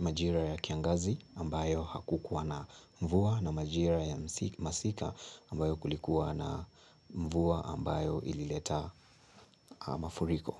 majira ya kiangazi ambayo hakukuwa na mvua na majira ya masika ambayo kulikuwa na mvua ambayo ilileta mafuriko.